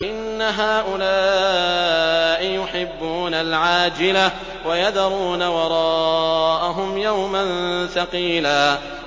إِنَّ هَٰؤُلَاءِ يُحِبُّونَ الْعَاجِلَةَ وَيَذَرُونَ وَرَاءَهُمْ يَوْمًا ثَقِيلًا